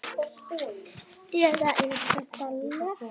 Eða er þetta leti?